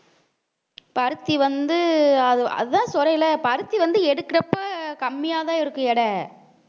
பருத்தி வந்து அது அதான் இப்ப பருத்தி வந்து எடுக்கிறப்ப கம்மியா தான் இருக்கும் எடை